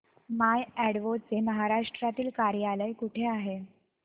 माय Advo चे महाराष्ट्रातील कार्यालय कुठे आहे